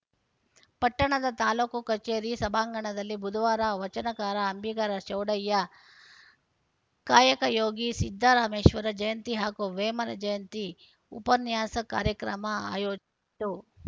ಪಟ್ಟಣದ ತಾಲೂಕು ಕಚೇರಿ ಸಭಾಂಗಣದಲ್ಲಿ ಬುಧವಾರ ವಚನಕಾರ ಅಂಬಿಗರ ಚೌಡಯ್ಯ ಕಾಯಕಯೋಗಿ ಸಿದ್ದರಾಮೇಶ್ವರ ಜಯಂತಿ ಹಾಗೂ ವೇಮನ ಜಯಂತಿ ಉಪನ್ಯಾಸ ಕಾರ್ಯಕ್ರಮ ಆಯೋಜಿಸಿತ್ತು